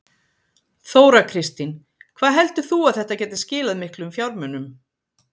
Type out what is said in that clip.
Þóra Kristín: Hvað heldur þú að þetta gæti skilað miklu fjármunum?